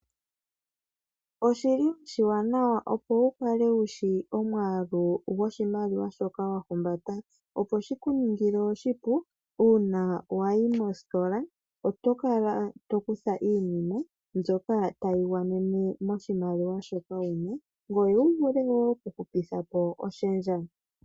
Oshiwanawa opo wu kale wu shi omwaalu goshimaliwa shoka wa humbata, opo shi ku ningile oshipu uuna wa yi mositola oto kala to kutha iinima mbyoka tayi gwanene moshimaliwa shoka wu na, ngoye oto vulu wo okuhupitha po oshendja.